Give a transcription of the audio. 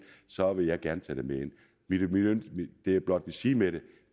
så vil jeg gerne tage med ind det jeg blot vil sige med det